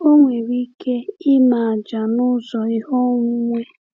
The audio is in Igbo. Ọ nwere ike ime àjà n’ụzọ ihe onwunwe.